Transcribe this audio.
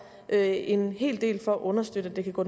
en en hel del for at understøtte at det kan gå